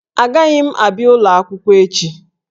Agaghị m abịa ụlọ akwụkwọ echi